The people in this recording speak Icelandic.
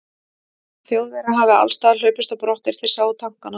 Þjóðverjar hafi allsstaðar hlaupist á brott, er þeir sáu tankana.